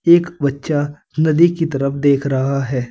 एक बच्चा नदी की तरफ देख रहा है।